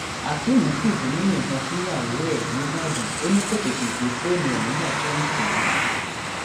akéem fìbínú yìnbọn fúnyàwó ẹ nìbàdàn ò ní kó tètè gbé fóònù ẹ nígbà tóun pè é